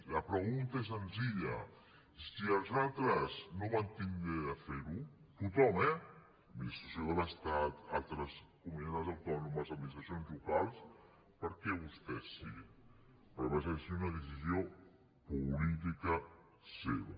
la pregunta és senzilla si els altres no van tindre de fer·ho tothom eh administració de l’estat altres comunitats autònomes administracions locals per què vostès sí perquè va ser una decisió política seva